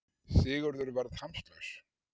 Sigurður varð hamslaus.